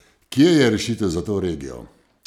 Kje je rešitev za to regijo?